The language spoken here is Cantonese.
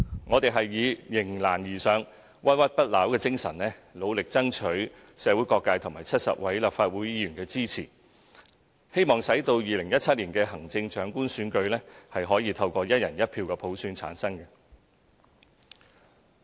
我們以迎難而上、不屈不撓的精神，努力爭取社會各界和70位立法會議員的支持，希望使2017年的行政長官選舉可以透過"一人一票"普選產生。